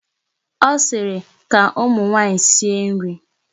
Ọ sịrị, ka ụmụ nwaanyị sie nri!